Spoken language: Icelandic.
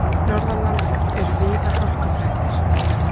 Norðanlands eru víða hálkublettir